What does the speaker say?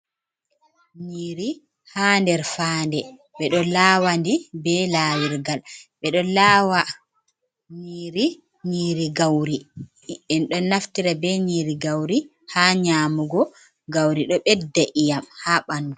Nyiiri ha nder faande ɓeɗo lawandi be laawirgal, ɓeɗo lawandi nyiri gauri. Enɗo naftira be nyiri gauri ha nyamugo, gauri ɗo bedda iyam ha ɓandu.